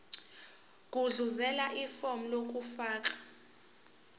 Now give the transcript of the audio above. gudluzela ifomu lokufaka